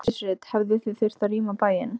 Hjördís Rut: Hefðuð þið þurft að rýma bæinn?